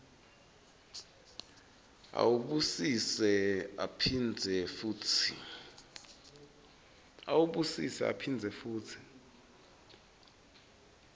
awubusise aphindze futsi